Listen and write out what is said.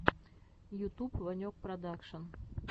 ютуб ванек продакшн